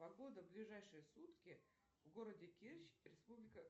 погода в ближайшие сутки в городе керчь республика